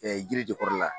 yiri de kɔrɔ la